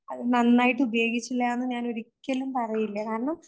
അത് നന്നായിട്ട് ഞാനൊരിക്കലും പറയില്ല. കാരണം,